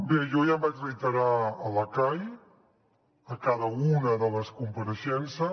bé jo ja em vaig reiterar a la cai a cada una de les compareixences